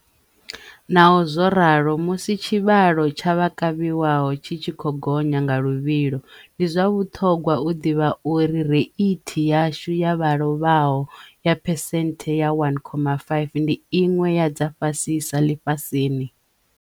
Naho zwo ralo, musi tshivha-lo tsha vha kavhiwaho tshi tshi khou gonya nga luvhilo, ndi zwa vhuṱhogwa u ḓivha uri reithi yashu ya vha lovhaho ya phesenthe ya 1.5 ndi iṅwe ya dza fhasisa ḽifhasini.